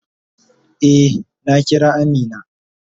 Eh, na Kira Amina.